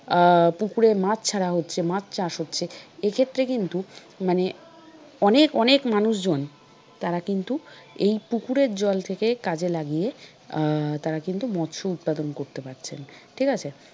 আহ পুকুরে মাছ ছাড়া হচ্ছে মাছ চাষ হচ্ছে। এক্ষেত্রে কিন্তু মানে অনেক অনেক মানুষজন তারা কিন্তু এই পুকুরের জল থেকে কাজে লাগিয়ে আহ তারা কিন্তু মৎস্য উৎপাদন করতে পারছেন ঠিক আছে?